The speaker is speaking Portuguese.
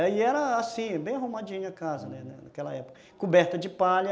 E era assim, bem arrumadinha a casa, uhum, naquela época, coberta de palha,